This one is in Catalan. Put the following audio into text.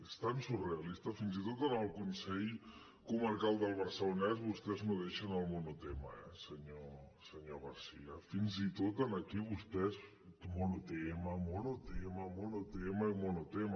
és tan surrealista fins i tot amb el consell comarcal del barcelonès vostès no deixen el monotema eh senyor garcía fins i tot aquí vostès monotema monotema i monotema